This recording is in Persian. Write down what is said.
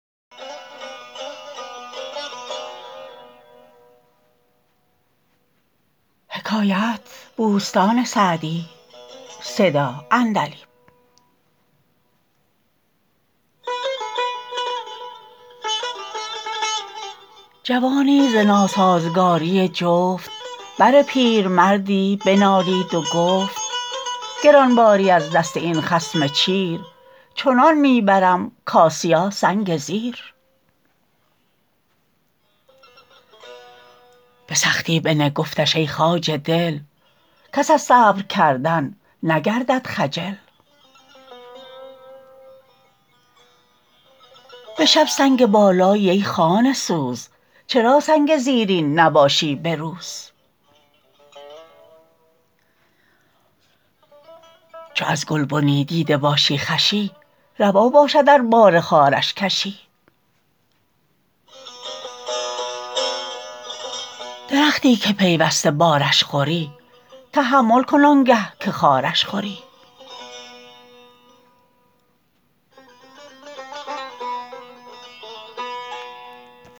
جوانی ز ناسازگاری جفت بر پیرمردی بنالید و گفت گران باری از دست این خصم چیر چنان می برم کآسیاسنگ زیر به سختی بنه گفتش ای خواجه دل کس از صبر کردن نگردد خجل به شب سنگ بالایی ای خانه سوز چرا سنگ زیرین نباشی به روز چو از گلبنی دیده باشی خوشی روا باشد ار بار خارش کشی درختی که پیوسته بارش خوری تحمل کن آنگه که خارش خوری